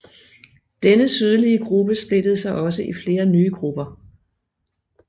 Denne sydlige gruppe splittede sig også i flere nye grupper